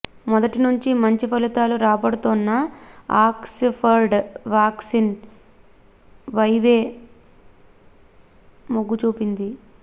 మొదటి నుంచీ మంచి ఫలితాలు రాబడుతోన్న ఆక్స్ ఫర్డ్ వ్యాక్సిన్ వైవే మొగ్గుచూపింది